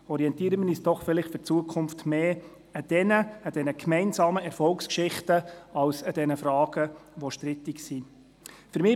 Orientieren wir uns in Zukunft doch stärker an diesen gemeinsamen Erfolgsgeschichten statt an den strittigen Fragen.